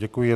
Děkuji.